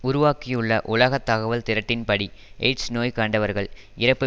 உருவாக்கியுள்ள உலக தகவல் திரட்டின்படி எய்ட்ஸ் நோய் கண்டவர்கள் இறப்பு